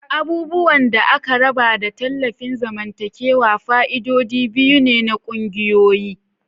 Abubuwan da aka raba da tallafin zamantakewa fa'idodi biyu ne na ƙungiyoyi.